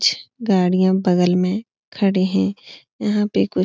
कुछ गाड़ियाँ बगल में खड़े हैं यहाँ पे कुछ --